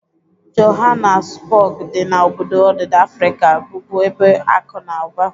Johanasbog dị na obodo odida Afrika bụbu ebe akụ na ụba.